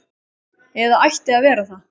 Eða ætti að vera það.